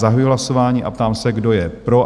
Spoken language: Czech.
Zahajuji hlasování a ptám se, kdo je pro?